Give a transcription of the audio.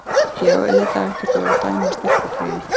Ég á auðvitað ekkert að vera að dæma stelpugreyið.